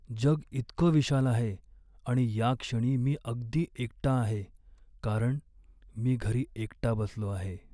जग इतकं विशाल आहे आणि याक्षणी मी अगदी एकटा आहे कारण मी घरी एकटा बसलो आहे.